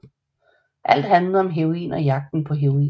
Alt handlede om heroin og jagten på heroin